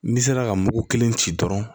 N'i sera ka mugu kelen ci dɔrɔn